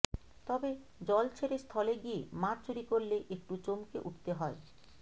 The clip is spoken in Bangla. তবে জল ছেড়ে স্থলে গিয়ে মাছ চুরি করলে একটু চমকে উঠতে হয়